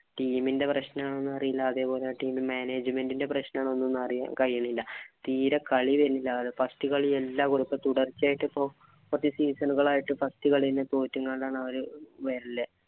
team ന്റെ പ്രശ്നം ആണോ എന്ന അറിയില്ലാ അതേപോലെ team management ന്റെ പ്രശ്നം ആണോന്നൊന്നും അറിയാൻ കഴിയിന്നില്ല. തീരെ കളി വരുന്നില്ല അതാ first കളിയെല്ലാം തുടച്ചെയായിട്ടു ഇപ്പൊ കുറച്ചു season നുകൾ ആയിട്ട് first കളി തന്നെ തോറ്റിങ്ങാണ്ട് അവര് വരല്